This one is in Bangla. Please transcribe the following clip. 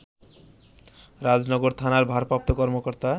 রাজনগর থানার ভারপ্রাপ্ত কর্মকর্তা